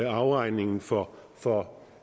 afregning for for